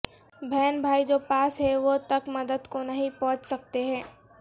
بہن بھائی جو پاس ہیں وہ تک مدد کو نہیں پہنچ سکتے ہیں